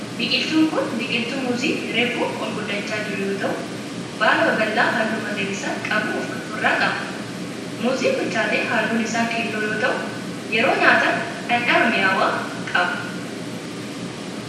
Biqiltun kun biqiltuu muuzii reefu ol guddachaa jiru yoo ta'u, baala babal'aa halluu magariisa qabu of irraa qaba. Muuziin bilchaate halluun isaa keelloo yoo ta'u, yeroo nyaatan dhandhama mi'awaa qaba.